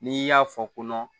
N'i y'a fɔ kɔnɔ